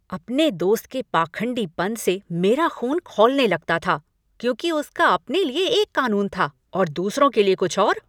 अपने दोस्त के पाखंडीपन से मेरा ख़ून खौलने लगता था क्योंकि उसका अपने लिए एक कानून था और दूसरों के लिए कुछ और।